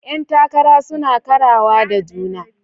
Yan takara suna karawa da juna.